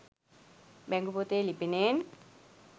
බැංකු පොතේ ලිපිනයෙන්